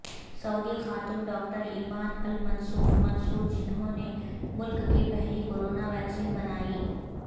سعودی خاتون doctor Eman Al Mansour جنہوں نے ملک کی پہلی کورونا ویکیسن بنائی